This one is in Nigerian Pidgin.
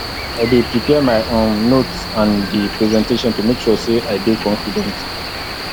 i dey prepare my um notes and di presentation to make sure say i dey confident